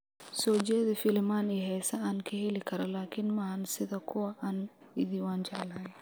soo jeedi filimaan iyo heeso aan ka heli karo laakiin maahan sida kuwa aan idhi waan jeclahay